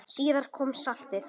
Síðar kom saltið.